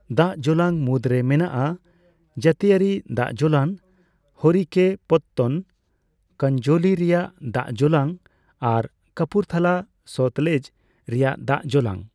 ᱫᱟᱜ ᱡᱚᱞᱟᱝ ᱢᱩᱫᱽᱨᱮ ᱢᱮᱱᱟᱜᱼᱟ ᱡᱟᱹᱛᱤᱭᱟᱹᱨᱤ ᱫᱟᱜᱡᱚᱞᱟᱝ ᱦᱚᱨᱤᱼᱠᱮᱼᱯᱚᱛᱛᱚᱱ, ᱠᱟᱱᱡᱚᱞᱤ ᱨᱮᱭᱟᱜ ᱫᱟᱜᱡᱚᱞᱟᱝ ᱟᱨ ᱠᱟᱯᱩᱨᱛᱷᱟᱞᱟ ᱥᱚᱛᱞᱮᱡᱽ ᱨᱮᱭᱟᱜ ᱫᱟᱜᱡᱚᱞᱟᱝ ᱾